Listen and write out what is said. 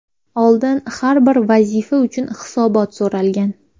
Oldin har bir vazifa uchun hisobot so‘ralgan.